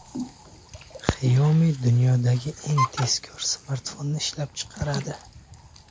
Xiaomi dunyodagi eng tezkor smartfonni ishlab chiqaradi.